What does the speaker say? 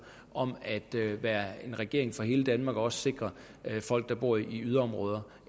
om at være en regering for hele danmark og også sikre folk der bor i yderområderne